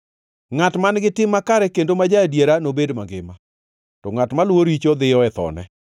Ngʼat man-gi tim makare kendo ma ja-adiera nobed mangima, to ngʼat maluwo richo dhiyo e thone.